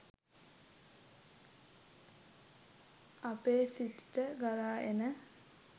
අපේ සිතට ගලා එන